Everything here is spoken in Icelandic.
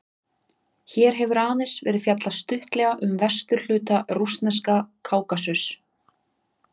Hér hefur aðeins verið fjallað stuttlega um vesturhluta rússneska Kákasus.